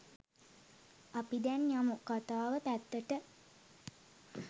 අපි දැන් යමු කථාව පැත්තට